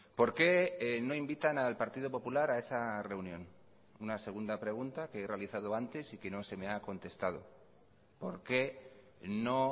por qué no invitan al partido popular a esa reunión una segunda pregunta que he realizado antes y que no se me ha contestado por qué no